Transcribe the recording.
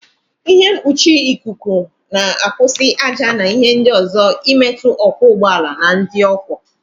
Ịhe mkpuchi ikuku na-akwụsị ájá na ịhe ndị ọzọ imetụ ọkwọ ụgbọala na ndị ọ kwọ.